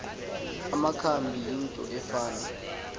amakhambi yinto efana